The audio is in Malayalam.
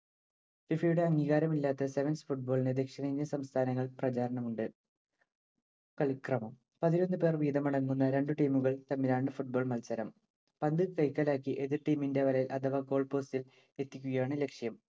FIFA യുടെ അംഗീകാരമില്ലാത്ത sevens football ന്‌ ദക്ഷിണേന്ത്യൻ സംസ്ഥാനങ്ങളിൽ പ്രചാരണമുണ്ട്‌. കളിക്രമം പതിനൊന്നു പേർ വീതമടങ്ങുന്ന രണ്ടു team ഉകൾ തമ്മിലാണ്‌ football മത്സരം. പന്ത് കൈക്കലാക്കി എതിർ team ഇന്‍റെ വലയില്‍ അഥവാ goal post ഇല്‍ എത്തിക്കുകയാണു ലക്ഷ്യം.